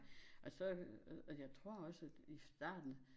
Og så øh og jeg tror også at i starten